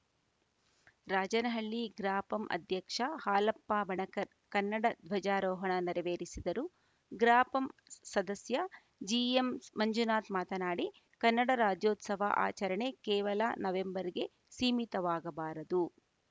ರಾಜನಹಳ್ಳಿ ಗ್ರಾಪಂ ಅಧ್ಯಕ್ಷ ಹಾಲಪ್ಪ ಬಣಕರ್‌ ಕನ್ನಡ ಧ್ವಜಾರೋಹಣ ನೆರವೇರಿಸಿದರು ಗ್ರಾಪಂ ಸ್ ಸದಸ್ಯ ಜಿಎಂಮಂಜುನಾಥ್‌ ಮಾತನಾಡಿ ಕನ್ನಡ ರಾಜ್ಯೋತ್ಸವ ಆಚರಣೆ ಕೇವಲ ನವೆಂಬರ್‌ಗೆ ಸೀಮಿತವಾಗಬಾರದು